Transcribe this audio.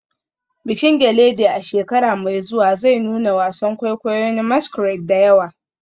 Bikin gelede a shekara mai zuwa zai nuna wasan kwaikwayo na masquerade da yawa.